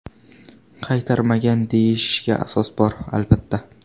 Qaytarmagan deyilishiga asos bor, albatta.